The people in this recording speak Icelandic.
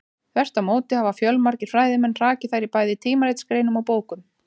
Þvert á móti hafa fjölmargir fræðimenn hrakið þær í bæði tímaritsgreinum og bókum.